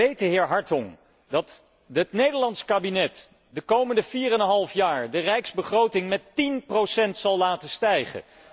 Maar weet de heer Hartong dat dit Nederlands kabinet de komende vier en een half jaar de rijksbegroting met tien procent zal laten stijgen?